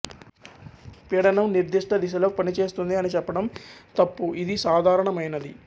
పీడనం నిర్ధిష్ట దిశలో పనిచేస్తుంది అని చెప్పడం తప్పు ఇది సాధారణమైనది